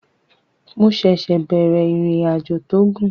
Mo ṣẹ̀ṣẹ̀ bẹ̀rẹ̀ ìrìnàjò tó gùn